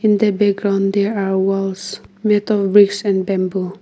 In the background there are walls made of bricks and bamboo.